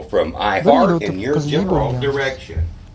Bir yil o‘tib qizli bo‘lganmiz.